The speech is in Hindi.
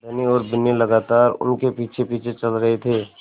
धनी और बिन्नी लगातार उनके पीछेपीछे चल रहे थे